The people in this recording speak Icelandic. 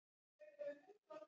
Þú verður ekki með.